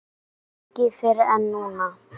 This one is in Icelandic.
Hann synjaði beiðni minni.